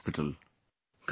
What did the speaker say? General Hospital